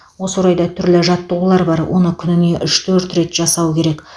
осы орайда түрлі жаттығулар бар оны күніне үш төрт рет жасау керек